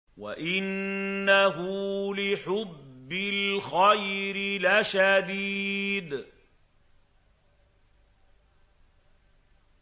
وَإِنَّهُ لِحُبِّ الْخَيْرِ لَشَدِيدٌ